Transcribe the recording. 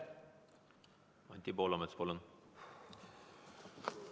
Anti Poolamets, palun!